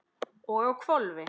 og á hvolfi!